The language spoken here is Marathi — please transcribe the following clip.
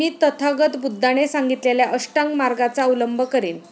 मी तथागत बुद्धाने सांगितलेल्या अष्टांग मार्गाचा अवलंब करीन.